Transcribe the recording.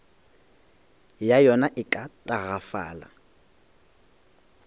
ya yona e ka tagafala